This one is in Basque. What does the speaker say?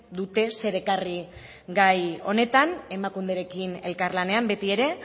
dute zer ekarri gai honetan emakunderekin elkarlanean betiere